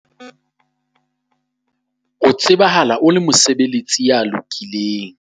O tsebahala o le mosebeletsi ya lokileng.